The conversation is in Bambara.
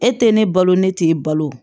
E tɛ ne balo ne t'e balo